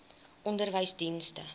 onderwysdienste